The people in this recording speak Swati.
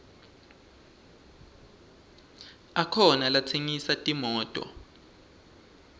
akhona latsengisa timoto